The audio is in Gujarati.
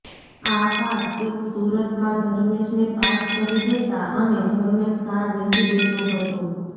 આ કાર તેઓ સુરતમાં ધર્મેશને પાસ કરી દેતાં અને ધર્મેશ કાર વેચી દેતો હતો